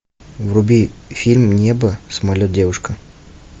вруби фильм небо самолет девушка